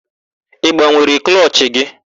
Ị gbanwere klọchị gị?